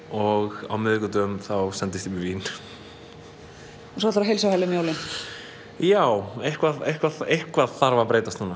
og á miðvikudögum þá sendist ég með vín svo ætlarðu á heilsuhæli um jólin já eitthvað eitthvað eitthvað þarf að breytast núna